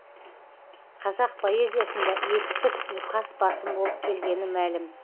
қазақ поэзиясында етістік ұйқас басым болып келгені мәлім